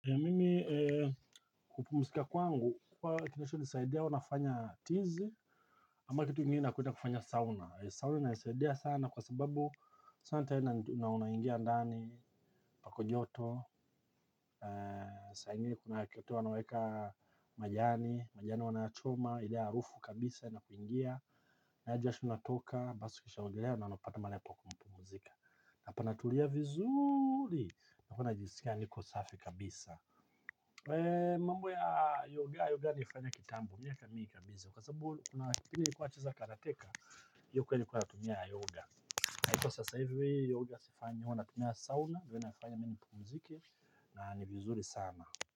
Mimi kupumzika kwangu, huwa kinachonisaidia huwa nafanya tizi, ama kitu ingine nakuja kufanya sauna. Sauna inanisaidia sana kwa sababu sauna tena na unaingia ndani, pako joto, saa ingine kuna kitu wanaweka majani, majani wanayachoma, ile harufu kabisa, inakuingia, nayo jasho inatoka, basi ukishaogelea, na unapata mahali pa kupumzika. Na panatulia vizuri, na huwa najisikia niko safi kabisa. Wee mambo ya yoga, yoga nilifanya kitambo miaka mingi kabisa kwa sababu wakati nilikuwa nacheza karate. Hiyo kweli nilikuwa natumia yoga. Na iko sasa hivi yoga sifanyi huwa natumia sauna huwa inanifanya mi nipumzike na ni vizuri sana.